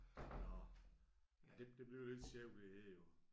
Nåh det det bliver lidt sjovt det her jo